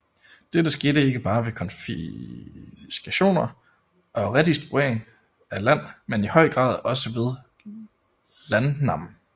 Dette skete ikke bare ved konfiskationer og redistribution af land men i høj grad også ved landnam